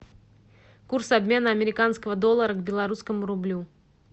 курс обмена американского доллара к белорусскому рублю